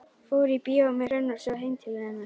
Fór í bíó með Hrönn og svo heim til hennar.